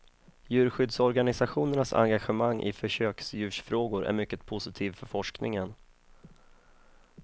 Djurskyddsorganisationernas engagemang i försöksdjursfrågor är mycket positiv för forskningen.